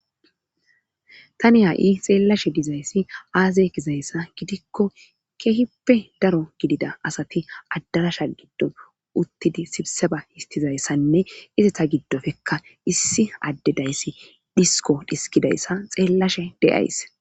tani ha7i xeellashe dizayssi aaze gizayssa gidikko keehippe daro gidida asati addarasha giddo uttidi sibse ba histizayssanne ize ta giddofekka issi addedayssi dhisko dhiskidayssa xeellashe de7ays.